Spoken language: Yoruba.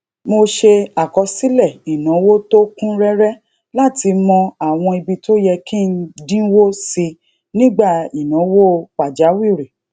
mo ṣe àkọsílè ìnáwó tó kún réré láti mọ àwọn ibi tó yẹ kí n dínwó sí nígbà inawo pajawiri